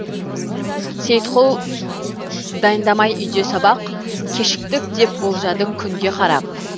сейітқұл дайындамай үйде сабақ кешіктік деп болжады күнге қарап